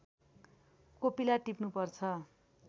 कोपिला टिप्नुपर्छ